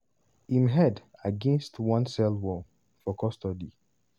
im head against one cell wall" for custody.